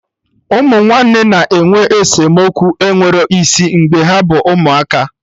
Ụmụ nwanne na-enwe esemokwu enwero isi mgbe ha bụ ụmụaka